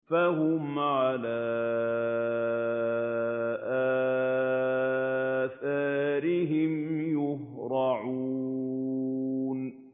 فَهُمْ عَلَىٰ آثَارِهِمْ يُهْرَعُونَ